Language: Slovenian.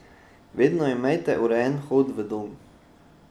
Vedno imejte urejen vhod v dom.